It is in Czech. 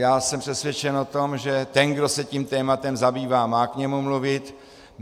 Já jsem přesvědčen o tom, že ten, kdo se tím tématem zabývá, má k němu mluvit.